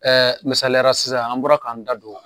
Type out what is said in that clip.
Ɛɛ misaliyara sisan an bɔra k'an da don